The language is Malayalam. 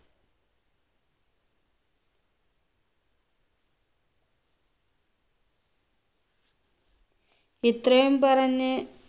ഇത്രയും പറഞ്ഞ്